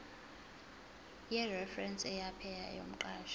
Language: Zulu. yereferense yepaye yomqashi